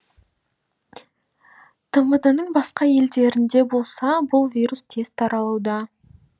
тмд ның басқа елдерінде болса бұл вирус тез таралуда